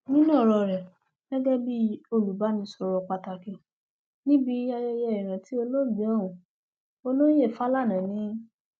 nínú ọrọ rẹ gẹgẹ bíi olùbánisọrọ pàtàkì níbi ayẹyẹ ìrántí olóògbé ohun olóye fálání ni